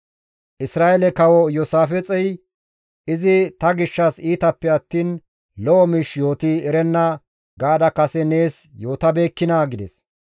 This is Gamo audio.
Isra7eele kawo Iyoosaafixey, « ‹Izi ta gishshas iitappe attiin lo7o miish yooti erenna› gaada kase nees yootabeekkinaa?» gides.